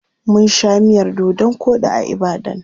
Mun sha miyar dodon koɗi a Ibadan.